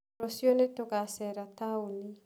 Rũciũ nĩtũgacera taũni.